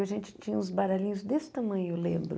A gente tinha uns baralhinhos desse tamanho, eu lembro.